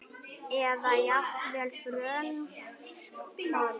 Eða jafnvel frönsk horn?